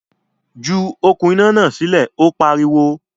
Ju “okùn iná” náà sílẹ̀! Ó pariwo.